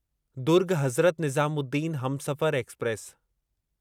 Durg Hazrat Nizamuddin Humsafar express